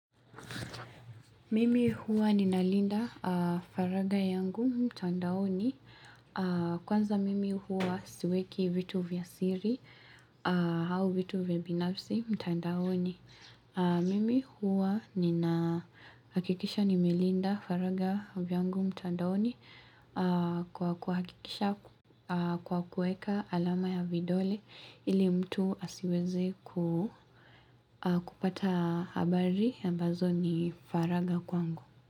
Mimi huwa ninalinda faragha yangu mtandaoni Kwanza mimi huwa siweki vitu vya siri au vitu vya binafsi mtandaoni Mimi huwa ninahakikisha nimelinda faragha yangu mtandaoni kwa kuhakikisha kwa kuweka alama ya vidole ili mtu asiweze kupata habari ambazo ni faragha kwangu.